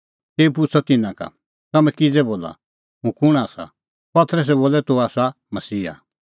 तेऊ पुछ़अ तिन्नां का तम्हैं किज़ै बोला हुंह कुंण आसा पतरसै बोलअ तूह आसा मसीहा